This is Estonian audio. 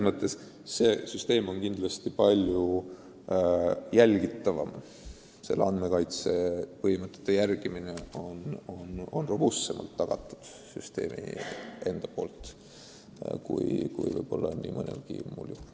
Uus süsteem on kindlasti palju jälgitavam, andmekaitse põhimõtete järgimine on süsteemi enda poolt n-ö robustsemalt tagatud kui mõnelgi muul juhul.